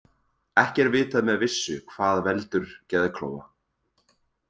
Ekki er vitað með vissu hvað veldur geðklofa.